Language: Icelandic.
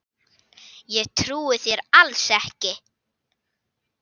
Ég trúi þér alls ekki!